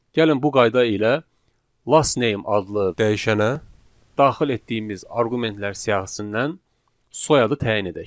Gəlin bu qayda ilə last name adlı dəyişənə daxil etdiyimiz arqumentlər siyahısından soyadı təyin edək.